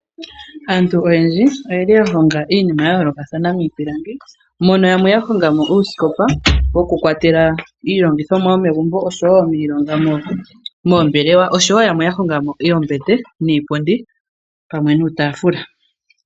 Aantu oyendji oyeli yahonga iinima yayoolokathana miipilangi mono yamwe yahongamo uusikopa wokukwatelwa iilongithomwa yomegumbo noshowoo miilongo yomombelewa. Yamwe oya hongamo oombete niipundi pamwe nuutaafula.